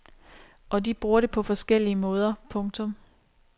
Og de bruger det på forskellige måder. punktum